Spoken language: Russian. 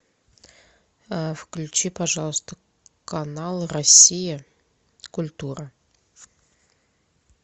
включи пожалуйста канал россия культура